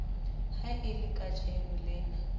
ha e le kajeno lena